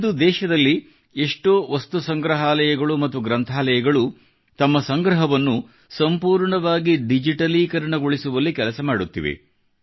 ಇಂದು ದೇಶದಲ್ಲಿ ಎಷ್ಟೋ ವಸ್ತು ಸಂಗ್ರಹಾಲಯಗಳು ಮತ್ತು ಗ್ರಂಥಾಲಯಗಳು ತಮ್ಮ ಸಂಗ್ರಹವನ್ನು ಸಂಪೂರ್ಣವಾಗಿ ಡಿಜಿಟಲೀಕರಣಗೊಳಿಸುವಲ್ಲಿ ಕೆಲಸ ಮಾಡುತ್ತಿವೆ